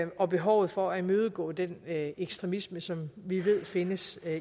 og behovet for at imødegå den ekstremisme som vi ved findes